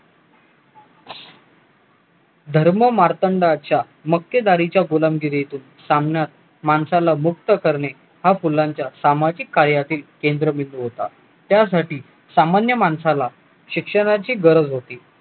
धर्ममार्तंडांच्या मक्तेदारीचा गुलामगिरीतून सामन्यात माणसाला मुक्त करणे हा फुलांच्या सामाजिक कार्यातील केंद्रबिंदू होता त्यासाठी सामान्य माणसाला शिक्षणाची गरज होती